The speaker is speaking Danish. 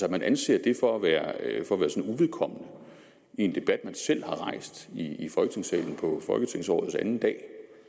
at man anser det for at være uvedkommende i en debat man selv har rejst i folketingssalen på folketingsårets anden dag